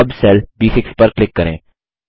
अब सेल ब6 पर क्लिक करें